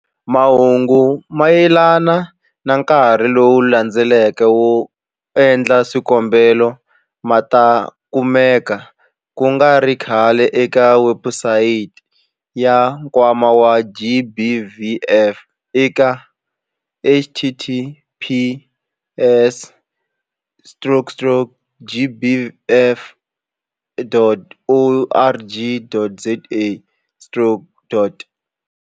Mahungu mayelana na nkarhi lowu landzelaka wo endla swikombelo ma ta kumeka ku nga ri khale eka webusayiti ya Nkwama wa GBVF eka-https-gbvf.org.za-.